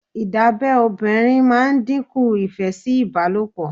Ìdábẹ́ obìnrin ma ń díkùn ìfẹ́ sí ìbálòpọ̀